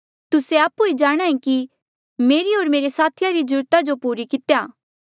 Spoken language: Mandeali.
तुस्से आपु ऐें जाणहां ऐें कि मेरे इन्हें हाथे मेरी होर मेरे साथिया री ज्रूरत जो पूरा कितेया